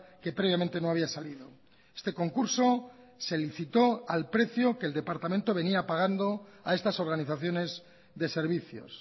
que previamente no había salido este concurso se licitó al precio que el departamento venía pagando a estas organizaciones de servicios